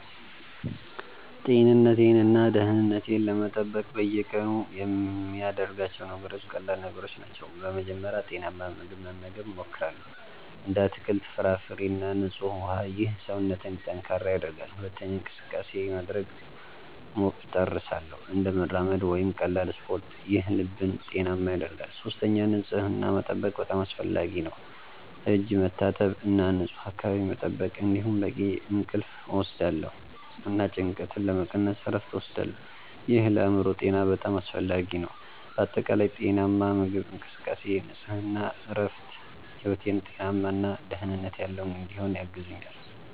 ጤንነቴን እና ደህንነቴን ለመጠበቅ በየቀኑ የምያደርጋቸው ነገሮች ቀላል ነገሮች ናቸው። በመጀመሪያ ጤናማ ምግብ መመገብ እሞክራለሁ፣ እንደ አትክልት፣ ፍራፍሬ እና ንጹህ ውሃ። ይህ ሰውነትን ጠንካራ ያደርጋል። ሁለተኛ እንቅስቃሴ (exercise) ማድረግ እጥርሳለሁ፣ እንደ መራመድ ወይም ቀላል ስፖርት። ይህ ልብን ጤናማ ያደርጋል። ሶስተኛ ንጽህናን መጠበቅ በጣም አስፈላጊ ነው፣ እጅ መታጠብ እና ንፁህ አካባቢ መጠበቅ። እንዲሁም በቂ እንቅልፍ እወስዳለሁ እና ጭንቀትን ለመቀነስ እረፍት እወስዳለሁ። ይህ ለአእምሮ ጤና በጣም አስፈላጊ ነው። በአጠቃላይ ጤናማ ምግብ፣ እንቅስቃሴ፣ ንጽህና እና እረፍት ሕይወቴን ጤናማ እና ደህንነት ያለው እንዲሆን ያግዙኛል